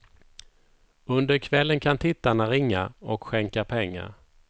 Under kvällen kan tittarna ringa och skänka pengar.